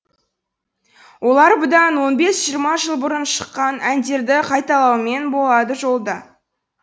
олар бұдан он бес жиырма жыл бұрын шыққан әндерді қайталаумен болады жолда